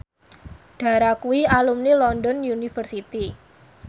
Dara kuwi alumni London University